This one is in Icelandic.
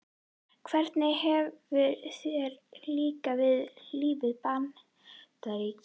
Hvernig hefur þér líkað við lífið í Bandaríkjunum?